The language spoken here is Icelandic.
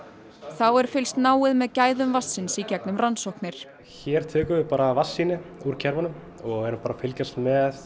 þá er fylgst náið með gæðum vatnsins í gegnum rannsóknir hér tökum við bara vatnssýni úr kerfunum og erum bara að fylgjast með